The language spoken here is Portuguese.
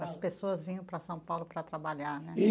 As pessoas vinham para São Paulo para trabalhar, né?